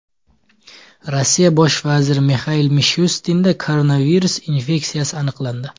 Rossiya bosh vaziri Mixail Mishustinda koronavirus infeksiyasi aniqlandi.